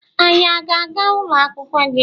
Anyị a na-aga ụlọ akwụkwọ gị?